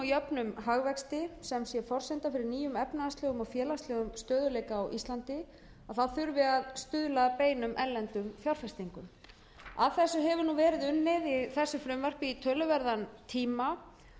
jöfnum hagvexti sem sé forsenda fyrir nýjum efnahagslegum og félagslegum stöðugleika á íslandi þurfi að stuðla að beinum erlendum fjárfestingum að þessu hefur verið unnið í þessu frumvarpi í töluverðan tíma